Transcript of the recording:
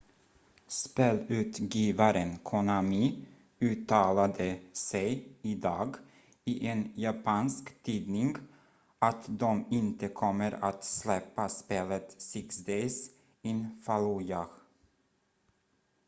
spelutgivaren konami uttalade sig idag i en japansk tidning att de inte kommer att släppa spelet six days in fallujah